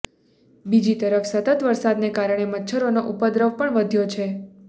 બીજી તરફ સતત વરસાદને કારણે મચ્છરોનો ઉપદ્રવ પણ વધ્યો છે